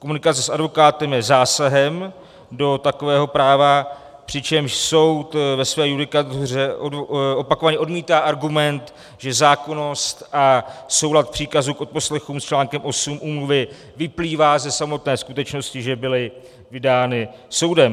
Komunikace s advokátem je zásahem do takového práva, přičemž soud ve své judikatuře opakovaně odmítá argument, že zákonnost a soulad příkazu k odposlechům s článkem 8 úmluvy vyplývá ze samotné skutečnosti, že byly vydány soudem.